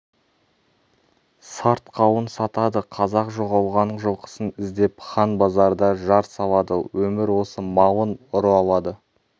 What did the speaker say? сарт қауын сатады қазақ жоғалған жылқысын іздеп хан базарда жар салады өмір осы малын ұры алады